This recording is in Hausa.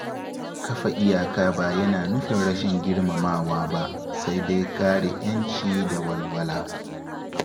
Kafa iyaka ba yana nufin rashin girmamawa ba, sai dai kare ‘yanci da walwala.